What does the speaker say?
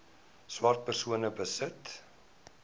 swart persone besit